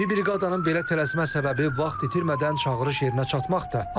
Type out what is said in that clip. Tibbi briqadanın belə tələsmə səbəbi vaxt itirmədən çağırış yerinə çatmaqdır.